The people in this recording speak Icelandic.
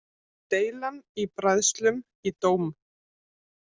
Deilan í bræðslum í dóm